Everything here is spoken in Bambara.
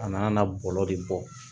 A n'a na bɔlɔlɔ de bɔ